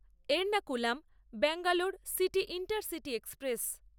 Ernakulam Bangalore city intercity express